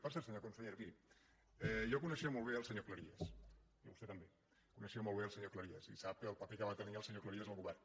per cert senyora consellera miri jo coneixia molt bé el senyor cleries i vostè també coneixia molt bé el senyor cleries i sap el paper que va tenir el senyor cleries al govern